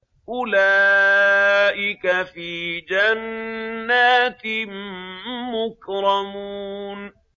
أُولَٰئِكَ فِي جَنَّاتٍ مُّكْرَمُونَ